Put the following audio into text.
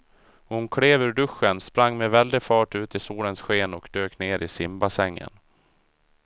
Hon klev ur duschen, sprang med väldig fart ut i solens sken och dök ner i simbassängen.